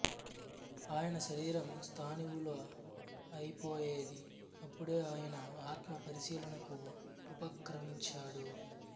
ఆయన శరీరం స్థాణువులా అయిపోయేది అప్పుడే ఆయన ఆత్మ పరిశీలనకు ఉపక్రమించాడు